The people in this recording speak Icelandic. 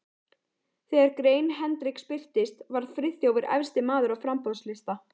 Þegar grein Hendriks birtist, var Friðþjófur efsti maður á framboðslista